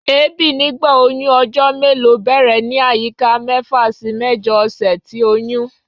Èébi nigba oyun ojo melo bẹrẹ ni ayika mefa si mẹjọ ọsẹ ti oyun